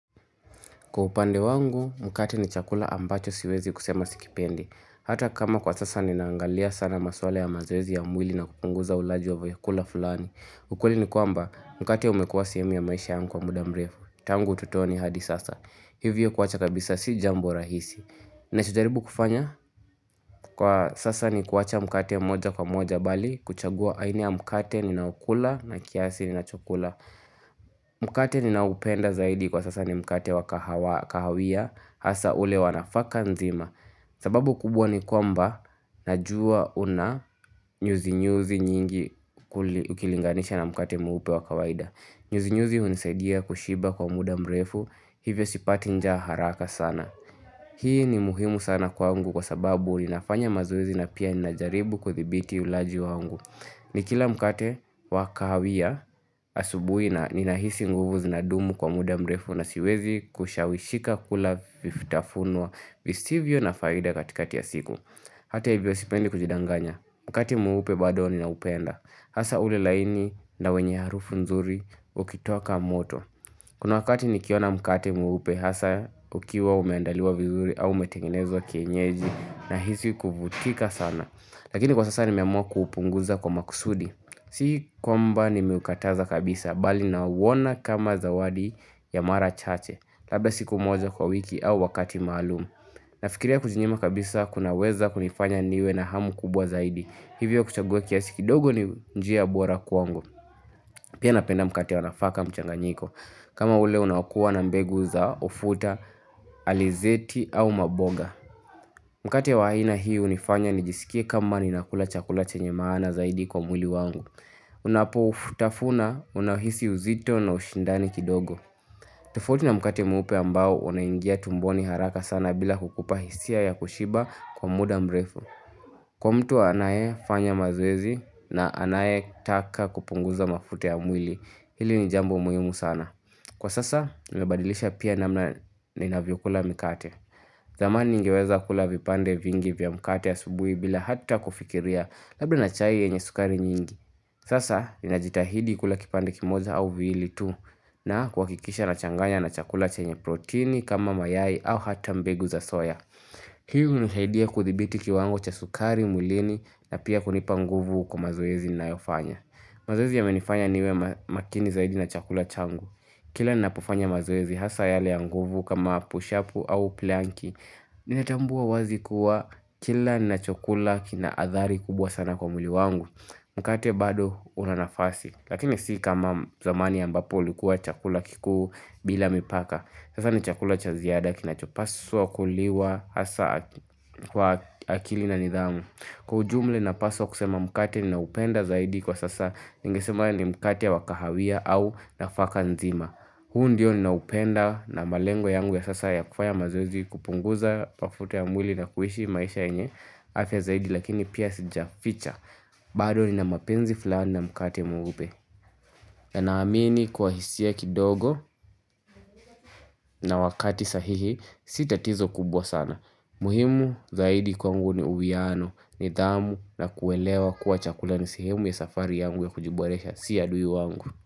Kwa upande wangu, mkate ni chakula ambacho siwezi kusema sikipendi. Hata kama kwa sasa nimeangalia sana maswala ya mazoezi ya mwili na kupunguza ulaji wa vyakula fulani. Ukweli ni kwamba, mkate umekuwa sehemu ya maisha yangu kwa mudamrefu. Tangu utoto ni hadi sasa. Hivyo kuacha kabisa si jambo rahisi. Ni sijaribu kufanya, kwa sasa ni kuacha mkate moja kwa moja bali, kuchagua aina ya mkate ni na okula na kiasi ni na chokula. Mkate ni na oupenda zaidi kwa sasa ni mkate wa kahawia. Hasa ule wanafaka nzima sababu kubwa ni kwamba Najua una nyuzi nyuzi nyingi Ukilinganisha na mkate mweupe wakawaida nyuzi nyuzi hunisaidia kushiba kwa muda mrefu Hivyo sipati njaa haraka sana Hii ni muhimu sana kwa ngu Kwa sababu ninafanya mazoezi na pia ninajaribu kudhibiti ulaji wangu Nikila mkate wakahawia asubuhi na ninahisi nguvu zinadumu kwa muda mrefu nasiwezi kushawishika kula vifutafunwa Vistivyo na faida katika tiya siku Hata hivyo sipendi kujidanganya Mkate mweupe badoni na upenda Hasa ule laini na wenye harufu nzuri Ukitoka moto Kuna wakati nikiona mkate mweupe Hasa ukiwa umeandaliwa vizuri au umetegenezwa kienyeji na hisi kuvutika sana Lakini kwa sasa ni meamua kuupunguza kwa makusudi Si kwamba ni meukataza kabisa bali na uona kama zawadi ya mara chache labda siku moja kwa wiki au wakati maalumu nafikiria kujinyima kabisa kunaweza kunifanya niwe na hamu kubwa zaidi hivyo kuchagua kiasikidogo ni njia bora kwangu pia napenda mkate wanafaka mchanganyiko kama ule unakua na mbegu za ufuta alizeti au maboga mkate wa aina hii hunifanya nijisikie kama ni nakula chakula chenye maana zaidi kwa mwili wangu Unapo ufutafuna, unahisi uzito na ushindani kidogo tofauti na mkate mweupe ambao unaingia tumboni haraka sana bila kukupa hisia ya kushiba kwa muda mrefu Kwa mtu anaye fanya mazoezi na anaye taka kupunguza mafuta ya mwili, hili ni jambo muhimu sana Kwa sasa, nabadilisha pia namna ninavyo kula mikate zamani ningeweza kula vipande vingi vya mkate a subuhi bila hata kufikiria labda na chai yenye sukari nyingi Sasa, ninajitahidi kula kipande kimoja au viwili tu na kuha kikisha na changanya na chakula chenye proteini kama mayai au hata mbegu za soya. Piahu nisaidia kudhibiti kiwango cha sukari, mwlini na pia kunipa nguvu kwa mazoezi nina yofanya. Mazoezi ya menifanya niwe makini zaidi na chakula changu. Kila nina pofanya mazoezi hasa yale ya nguvu kama pushapu au planki, nina tambua wazi kuwa kila na chakula kina athari kubwa sana kwa mwili wangu. Mkate bado unanafasi lakini si kama zamani ambapo likuwa chakula kikuu bila mipaka Sasa ni chakula chaziada kinachopaswa kuliwa hasa kwa akili na nidhamu Kwaujumla na paswa kusema mkate ni naupenda zaidi kwa sasa ningesema ni mkate ya wakahawia au nafaka nzima huu ndiyo ni naupenda na malengo yangu ya sasa ya kufaya mazoezi kupunguza mafuta ya mwili na kuishi maisha yenye afya zaidi lakini pia sija ficha bado ni na mapenzi fulani na mkate mweupe na naamini kwa hisi a kidogo na wakati sahihi sita tizo kubwa sana muhimu zaidi kwa ngu ni uwiano ni dhamu na kuelewa kuwa chakulani sehemu ya safari yangu ya kujiboresha sia dui wangu.